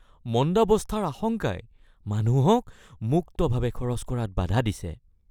মন্দাৱস্থাৰ আশংকাই মানুহক মুক্তভাৱে খৰচ কৰাত বাধা দিছে